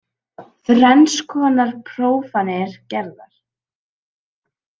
Þrenns konar prófanir gerðar